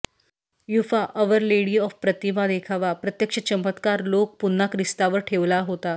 UEFA our lady of प्रतिमा देखावा प्रत्यक्ष चमत्कार लोक पुन्हा ख्रिस्तावर ठेवला होता